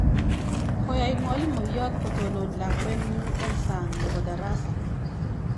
"Koyai mwalimoyot kotonon lakwetnyu eng sang nebo darasa."